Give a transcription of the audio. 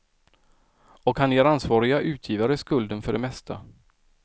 Och han ger ansvariga utgivare skulden för det mesta.